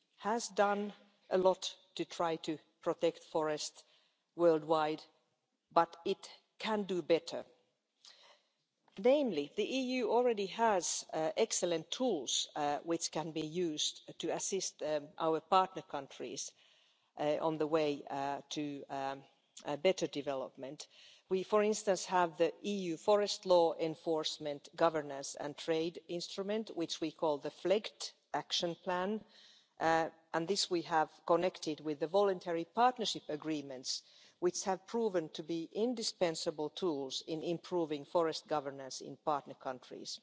EU has done a lot to try to protect forests worldwide, but it can do better. Namely, the EU already has excellent tools, which can be used to assist our partner countries on the way to better development. We have, for instance, the EU Forest Law Enforcement, Governance and Trade instrument, which we call the Flegt Action Plan, and we have linked this with the Voluntary Partnership Agreements, which have proven to be indispensable tools in improving forest governance in partner countries.